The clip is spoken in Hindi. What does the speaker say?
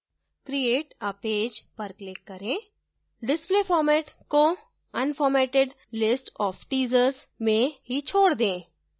create a page पर click करें display format को unformatted list of teasers में ही छोड दें